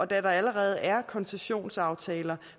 der allerede er koncessionsaftaler